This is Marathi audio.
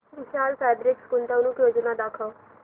विशाल फॅब्रिक्स गुंतवणूक योजना दाखव